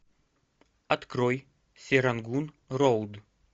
открой серангун роуд